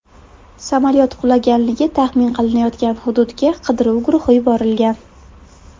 Samolyot qulaganligi taxmin qilinayotgan hududga qidiruv guruhi yuborilgan.